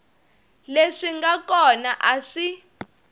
leswi nga kona a swi